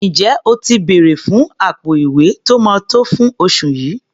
Ǹjẹ́ o ti bèrẹ̀ fún àpò-ìwé tó máa tó fún oṣù yìí?